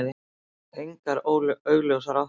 Engar augljósar áttir.